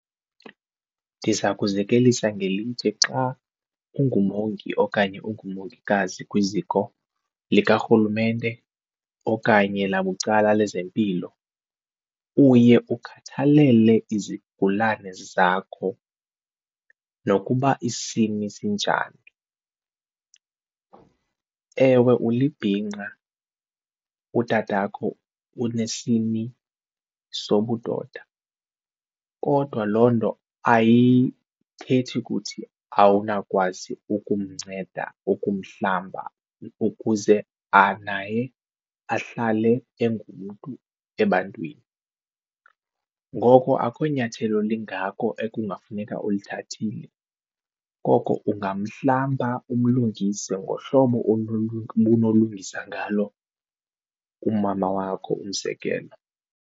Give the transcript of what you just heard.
Ndiza kuzekelisa ngelithi xa ungumongi okanye ungumongikazi kwiziko likarhulumente okanye labucala lezempilo uye ukhathalele izigulane zakho nokuba isini sinjani. Ewe ulibhinqa utatakho unesini sobudoda kodwa loo nto ayithethi kuthi awunawukwazi ukumnceda ukumhlamba ukuze naye ahlale engumntu ebantwini, ngoko akho nyathelo lingako ekungafuneka ulithathile. Koko ungamhlamba umlungise ngohlobo obunolungisa ngalo umama wakho umzekelo.